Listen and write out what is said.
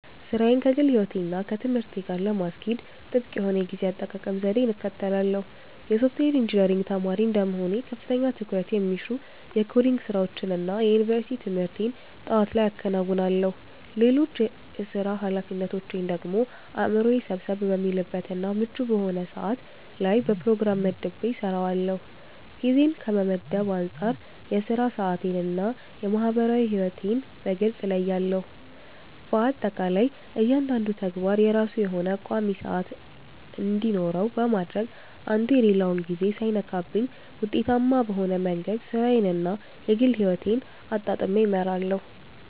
ሥራዬን ከግል ሕይወቴ እና ከትምህርቴ ጋር ለማስኬድ ጥብቅ የሆነ የጊዜ አጠቃቀም ዘዴን እከተላለሁ። የሶፍትዌር ኢንጂነሪንግ ተማሪ እንደመሆኔ ከፍተኛ ትኩረት የሚሹ የኮዲንግ ስራዎችን እና የዩኒቨርሲቲ ትምህርቴን ጠዋት ላይ አከናውናለሁ። ሌሎች የሥራ ኃላፊነቶቼን ደግሞ አእምሮዬ ሰብሰብ በሚልበት እና ምቹ በሆነ ሰዓት ላይ በፕሮግራም መድቤ እሰራዋለሁ። ጊዜን ከመመደብ አንፃር የሥራ ሰዓቴን እና የማህበራዊ ሕይወቴን በግልጽ እለያለሁ። በአጠቃላይ እያንዳንዱ ተግባር የራሱ የሆነ ቋሚ ሰዓት እንዲኖረው በማድረግ አንዱ የሌላውን ጊዜ ሳይነካብኝ ውጤታማ በሆነ መንገድ ሥራዬን እና የግል ሕይወቴን አጣጥሜ እመራለሁ።